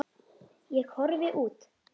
Ég horfi út.